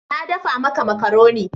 Na dafa maka makaroni.